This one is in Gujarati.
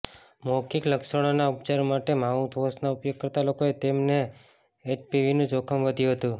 મૌખિક લક્ષણોના ઉપચાર માટે માઉથવાશનો ઉપયોગ કરતા લોકોએ તેમને એચપીવીનું જોખમ વધ્યું હતું